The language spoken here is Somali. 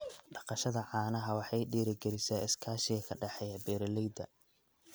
Dhaqashada caanaha waxay dhiirigelisaa iskaashiga ka dhexeeya beeralayda.